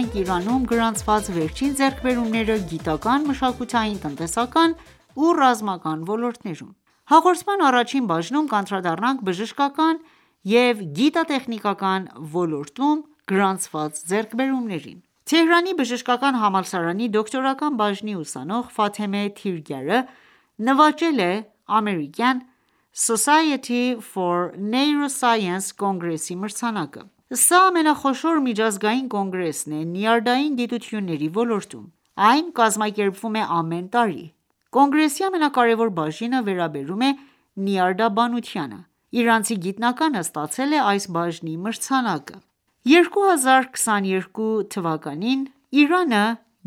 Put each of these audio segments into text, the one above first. ենք Իրանում գրանցված վերջին ձեռքբերումները՝ գիտական, մշակութային, տնտեսական ու ռազմական ոլորտներում: Հաղորդման առաջին բաժնում կանդրադառնանք բժշկական և գիտատեխնիկական ոլորտում գրանցված ձեռքբերումներին: Թեհրանի բժշկական համալսարանի դոկտորական բաժնի ուսանող Ֆաթեմե Թիրգյարը նվաճել է ամերիկյան Society for Neuroscience կոնգրեսի մրցանակը: Սա ամենախոշոր միջազգային կոնգրեսն է նյարդային գիտությունների ոլորտում: Այն կազմակերպվում է ամեն տարի: Կոնգրեսի ամենակարևոր բաժինը վերաբերում է նյարդաբանությանը: Իրանցի գիտնականը ստացել է այս բաժնի մրցանակը: 2022թ. Իրանը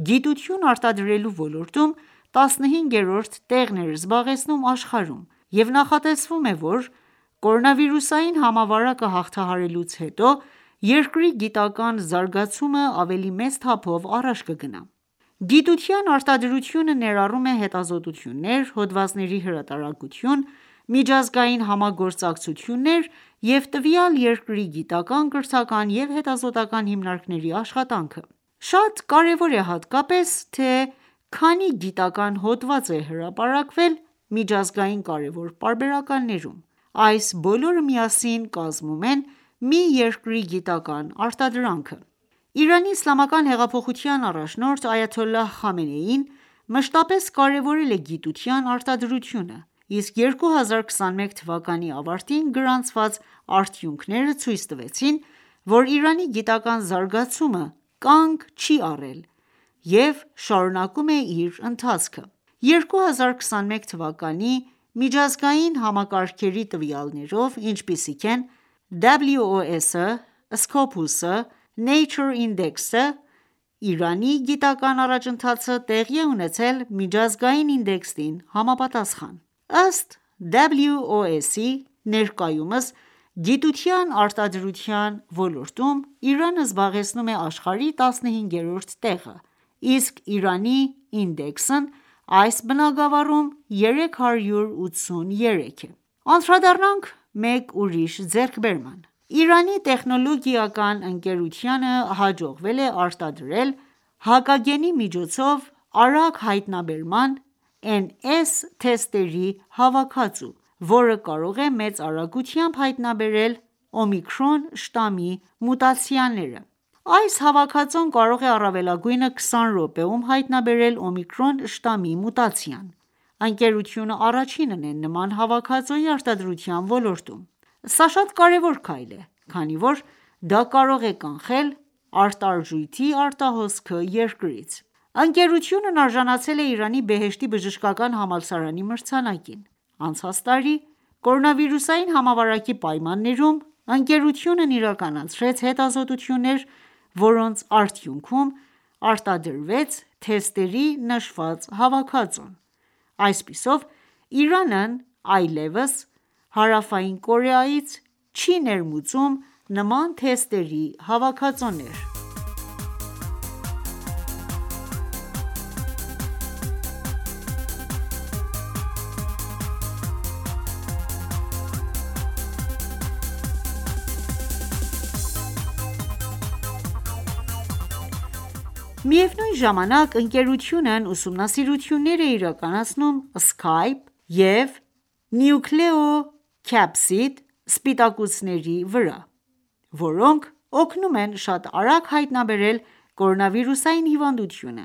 գիտություն արտադրելու ոլորտում 15-րդ տեղն էր զբաղեցնում աշխարհում և նախատեսվում է, որ կորոնավիրուսային համավարակը հաղթահարելուց հետո, երկրի գիտական զարգացումն ավելի մեծ թափով առաջ կգնա: Գիտության արտադրությունը ներառում է հետազոտություններ, հոդվածների հրատարակություն, միջազգային համագործակցություններ և տվյալ երկրի գիտական, կրթական ու հետազոտական հիմնարկների աշխատանքը: Շատ կարևոր է հատկապես թե քանի գիտական հոդված է հրապարակվել միջազգային կարևոր պարբերականներում: Այս բոլորը միասին կազմում են մի երկրի գիտական արտադրանքը: ԻԻՀ առաջնորդ Այաթոլլահ Խամենեին մշտապես կարևորել է գիտության արտադրությունը: Իսկ 2021թ ավարտին գրանցված արդյունքները ցույց տվեցին, որ Իրանի գիտական զարգացումը կանգ չի առել և շարունակում է իր ընթացքը: 2021թ. միջազգային համակարգերի տվյալներով, ինչպիսիք են WOS-ը SCOPUS-ը NATURE INDEX-ը, Իրանի գիտական առաջընթացը տեղի է ունեցել միջազգային ինդեքսին համապատասխան: Ըստ WOS-ի, ներկայումս գիտության արտադրության ոլորտում, Իրանը զբաղեցնում է աշխարհում 15-րդ տեղը: Իսկ Իրանի ինդեքսն այս բնագավառում 383-է: Անդրադառնանք մեկ ուրիշ ձեռքբերման: Իրանական տեխնոլոգիական ընկերությանը հաջողվել է արտադրել հակագենի միջոցով արագ հայտնաբերման NS թեստերի հավաքածու, որը կարող է մեծ արագությամբ հայտնաբերել «օմիկրոն» շտամի մուտացիաները: Այս հավաքածուն կարող է առավելագույնը 20 րոպեում հայտնաբերել «օմիկրոն» շտամի մուտացիան: Ընկերությունը առաջինն է նման հավաքածուի արտադրության ոլորտում: Սա շատ կարևոր քայլ է, քանի որ դա կարող է կանխել արտարժույթի արտահոսքը երկրից: Ընկերությունն արժանացել է Իրանի Բեհեշթի բժշկական համալսարանի մրցանակին: Անցած տարի, կորոնավիրուսային համավարակի պայմաններում, ընկերությունն իրականացրեց հետազոտություններ, որոնց արդյունքում արտադրվեց թեստերի նշված հավաքածուն: Այսպիսով, Իրանն այլևս Հարավային Կորեայից չի ներմուծում նման թեստերի հավաքածուներ: Միևնույն ժամանակ, ընկերությունն ուսումնասիրություններ է իրականացնում Spike և Nucleocapsid սպիտակուցների վրա, որոնք օգնում են շատ արագ հայտնաբերել կորոնավիրուսային հիվանդությունը: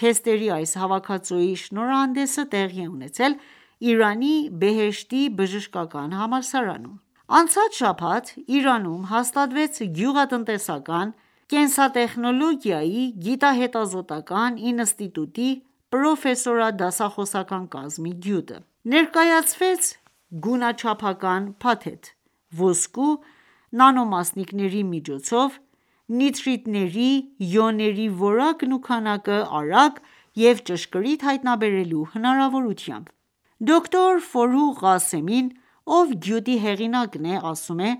Թեստերի այս հավաքածուի շնորհանդեսը տեղի է ունեցել Իրանի Բեհեշթի բժշկական համալսարանում: Անցած շաբաթ Իրանում հաստատվեց Գյուղատնտեսական կենսատեխնոլոգիայի գիտահետազոտական ինստիտուտի պորֆեսորադասախոսական կազմի գյուտը: Ներկայացվեց գունաչափական փաթեթ՝ ոսկու նանոմասնիկների միջոցով նիտրիտների իոնների որակն ու քանակը արագ և ճշգրիտ հայտնաբերելու հնարավորությամբ: Դոկտոր Ֆորուղ Ղասեմին, ով գյուտի հեղինակն է, ասում է,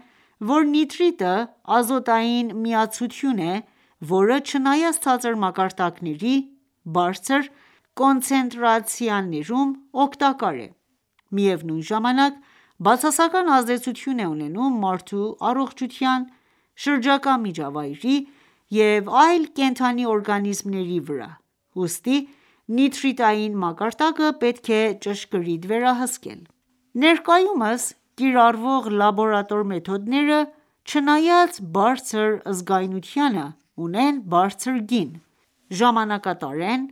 որ նիտրիտը ազոտային միացություն է, որը, չնայած ցածր մակարդակների բարձր կոնցենտրացիաներում օգտակար է, միևնույն ժամանակ բացասական ազդեցություն է ունենում մարդու առողջութան, շրջակա միջավայրի և այլ կենդանի օրգանիզմների վրա, ուստի նիտրիտային մակարդակը պետք է ճշգրիտ վերահսկել: Ներկայումս կիրառվող լաբորատոր մեթոդները, չնայած բարձր զգայունությանը, ունեն բարձր գին, ժամանակատար են,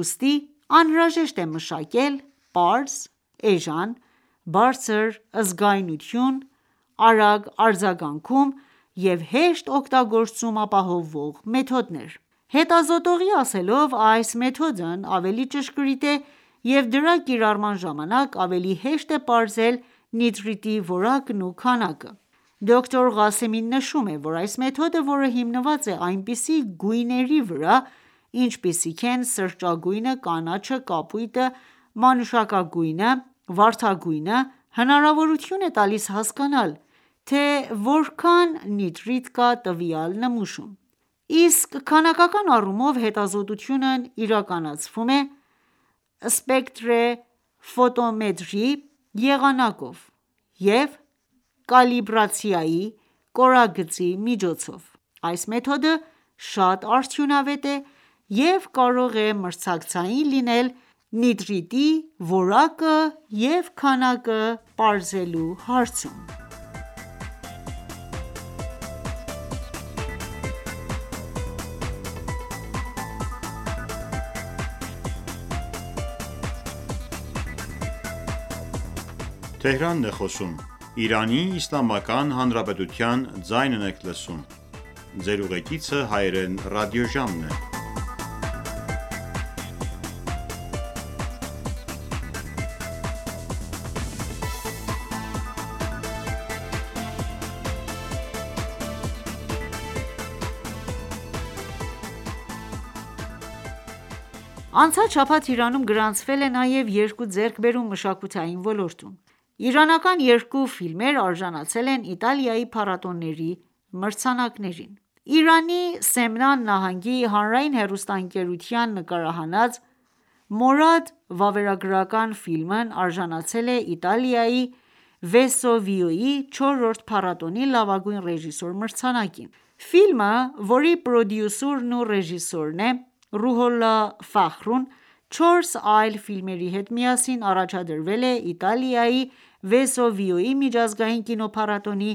ուստի անհրաժեշտ է մշակել պարզ, էժան, բարձր զգայունություն, արագ արձագանքում և հեշտ օգտագործում ապահովող մեթոդներ: Հետազոտողի ասելով, այս մեթոդն ավելի ճշգրիտ է և դրա կիրառման ժամանակ ավելի հեշտ է պարզել նիտրիտի որակն ու քանակը: Դոկտոր Ղասեմին նշում է, որ այս մեթոդը, որը հիմնված է այնպիսի գույների վրա, ինչպիսիք են սրճագույնը, կանաչը, կապույտը, մանուշակագույնը, վարդագույնը, հնարավորություն է տալիս հասկանալ, թե որքան նիտրիտ կա տվյալ նմուշում: Իսկ քանակական առումով հետազոտությունն իրականացվում է սպեկտրեֆոտոմետրի եղանակով և կալիբրացիայի կորագծի միջոցով: Այս մեթոդը շատ արդյունավետ է և կարող է մցրակցային լինել նիտրատի որակը և քանակը պարզելու հարցում: Անցած շաբաթ Իրանում գրանցվել է նաև երկու ձեռքբերում մշակույթի ոլորտում: Իրանական երկու ֆիլմեր արժանացել են Իտալիայի փառատոների մրցանակներին: Իրանի Սեմնան նահանգի հանրային ռադիոհեռուստաընկերության նկարահանած «Մորադ» վավերագրական ֆիլմն արժանացել է Իտալիայի Վեսուվիոյի չորրորդ փառատոնի «Լավագույն ռեժիսոր» մրցանակին: Ֆիլմը, որի պրոդյուսերն ու ռեժիսորն է Ռուհոլլա Ֆախրուն, չորս այլ ֆիլմերի հետ միասին առաջադրվել է Իտալիայի Վեսուվիուս միջազգային կինոփառատոնի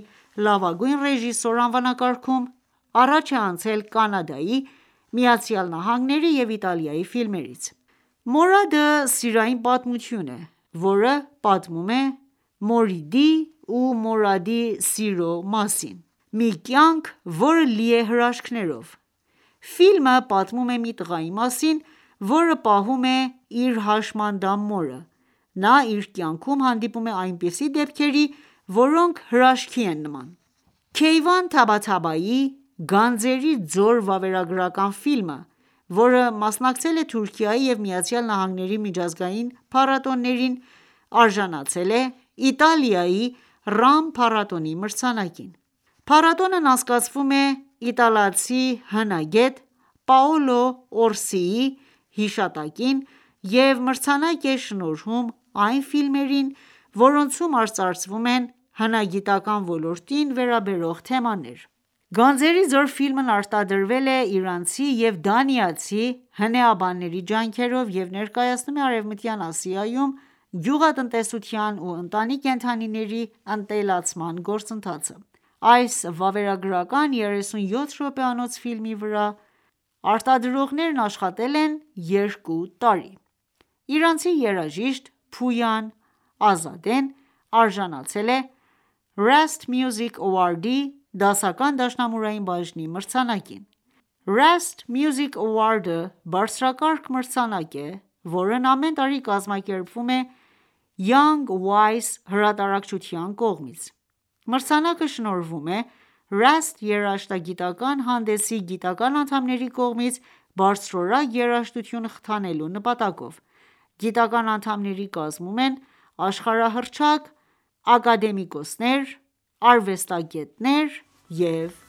«Լավագույն ռեժիսոր» անվանակարգում, առաջ է անցել՝ Կանադայի, ԱՄՆ-ի և Իտալիայի ֆիլմերից: «Մորադ»-ը սիրային պատմություն է, որ պատմում է Մորիդի ու Մորադի սիրո մասին: Մի կյանք, որը լի է հրաշքներով: Ֆիլմը պատմում է մի տղայի մասին, որը պահում է իր հաշմանդամ մորը: Նա իր կայնքում հանդիպում է այնպիսի դեպքերի, որոնք հրաշքի են նման: Քեյվան Թաբթաթաբիի «Գանձերի ձոր» վավերագրական ֆիլմը, որը մասնակցել է Թուրքիայի և ԱՄՆ-ի միջազգային փառատոներին, արժանացել է Իտալիայի Ռամ փառատոնի մրցանակին: Փառատոնն անցկացվում է իտալացի հնագետ Պաոլո Օրսիի հիշատակին և մրցանակ է շնորհում այն ֆիլմերին, որոնցում արծարծվում են հնագիտական ոլորտին վերաբերող թեմաներ: «Գանձերի ձոր» ֆիլմն արտադրվել է իրանցի և դանիացի հնեաբանների ջանքերով և ներկայացնում է Արևմտյան Ասիայում գոյւղատնտեսության ու ընտանի կենդանիների ընտելացման գործընթացը: Այս վավերագրական 37 րոպեանոց ֆիլմի վրա արտադրողներն աշխատել են երկու տարի: Իրանցի երաժիշտ Փույան Ազադեն արժանացել է Rast Music Award-ի դասական դաշնամուրային բաժնի մրցանակին: Rast Music Award-ը բարձրակարգ մրցանակ է, որն ամեն տարի կազմակերպվում է Young Wise հրատարակչության կողմից: Մրցանակը շնորհվում է Rast երաժշտագիտական ​​հանդեսի գիտական ​​անդամների կողմից՝ բարձրորակ երաժշտությունը խթանելու նպատակով: Գիտական անդամների կազմում են աշխարհահռչակ ակադեմիկոսներ, արվեստագետներ և